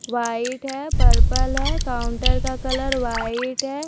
White है purple है counter का कलर वाइट है।